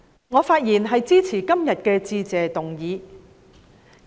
我發言支持今天的致謝議案。